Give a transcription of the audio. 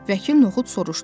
Vəkil Noxud soruşdu.